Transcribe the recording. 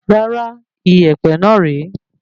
Rárá, ìyèpẹ̀ náà re